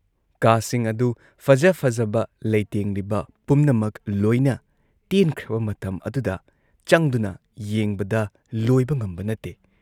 ꯀꯥꯁꯤꯡ ꯑꯗꯨꯨ ꯐꯖ ꯐꯖꯕ ꯂꯩꯇꯦꯡꯂꯤꯕ ꯄꯨꯝꯅꯃꯛ ꯂꯣꯏꯅ ꯇꯦꯟꯈ꯭ꯔꯕ ꯃꯇꯝ ꯑꯗꯨꯗ ꯆꯪꯗꯨꯅ ꯌꯦꯡꯕꯗ ꯂꯣꯏꯕ ꯉꯝꯕ ꯅꯠꯇꯦ ꯫